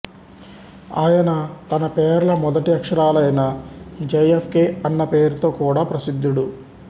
ఆయన తన పేర్ల మొదటి అక్షరాలైన జే ఎఫ్ కే అన్న పేరుతో కూడా ప్రసిద్ధుడు